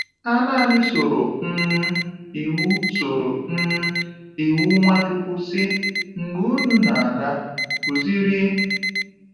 Ha nanị soro um iwu soro um iwu Nwachukwu si: “Mgbe unu na-aga, kụziri.”